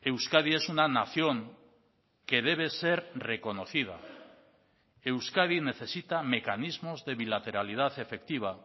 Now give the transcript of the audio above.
euskadi es una nación que debe ser reconocida euskadi necesita mecanismos de bilateralidad efectiva